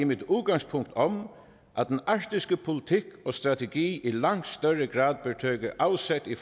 mit udgangspunkt om at den arktiske politik og strategi i langt større grad bør tage afsæt i